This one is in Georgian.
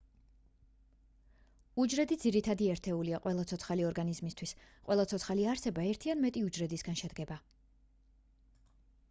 უჯრედი ძირითადი ერთეულია ყველა ცოცხალი ორგანიზმისთვის ყველა ცოცხალი არსება ერთი ან მეტი უჯრედისგან შედგება